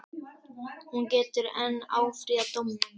Hún getur enn áfrýjað dómnum